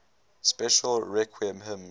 special requiem hymns